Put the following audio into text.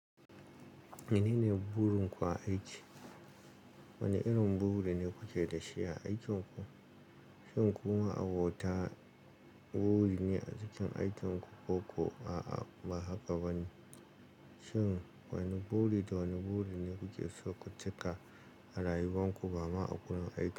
Menene burin ku a aiki? Wane irin buri ne kuke da shi a aikin ku? Shin ku ma'a bota buri ne a cikin aikin ku ko kuwa ba haka ba ne? Shin wane buri da wane buri ne kuke so ku cika rayuwan ku ba ma a wurin aiki?